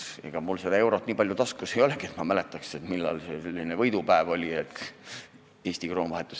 Ega mul seda eurot nii palju taskus ei olegi, et ma mäletaks, millal see selline võidupäev oli, kui Eesti kroon euroga vahetus.